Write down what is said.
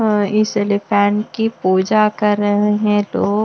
इस एलिफेंट की पूजा कर रहे हैं तो --